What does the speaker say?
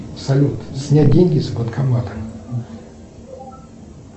салют снять деньги с банкомата